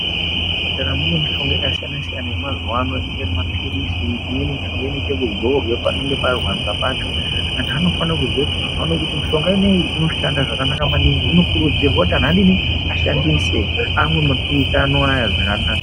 Muzvipatara mune mitombo yakasiyana-siyana yemazuva inenge iri mapirizi imweni mishonga inoita kuzorwa panenge parwadza pacho vantu vanofana kuziya kuti mishonga ineyi inoshanda zvakanaka maningi vantu vanokurudzirwa kuti adini ashandise anwe mapiritsi anawa zvakanaka.